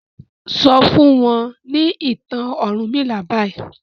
sọ fún wọn ni ìtàn ọrunmila bayii.